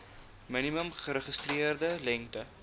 minimum geregistreerde lengte